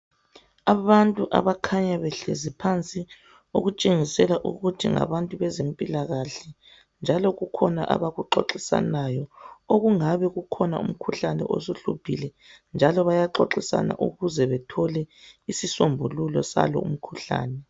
Abantu abakhanya behlezi phansi okutshengisela ukuthi ngabantu bezempilakahle njalo kukhona abakuxoxisanayo okungabe kukhona umkhuhlane osuhluphile njalo bayaxoxisana ukuze bethole isisombululo salomkhuhlane.